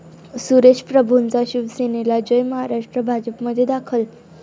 सुरेश प्रभूंचा शिवसेनाला 'जय महाराष्ट्र',भाजपमध्ये दाखल